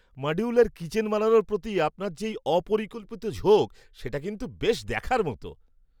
Modular kitchen বানানোর প্রতি আপনার যে এই অপরিকল্পিত ঝোঁক সেটা কিন্তু বেশ দেখার মতো।